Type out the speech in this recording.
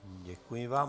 Děkuji vám.